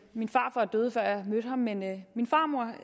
min farfar døde før jeg mødte ham men min farmor